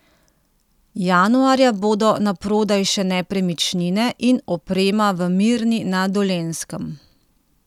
Januarja bodo naprodaj še nepremičnine in oprema v Mirni na Dolenjskem.